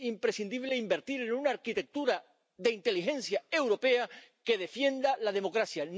Es imprescindible invertir en una arquitectura de inteligencia europea que defienda la democracia.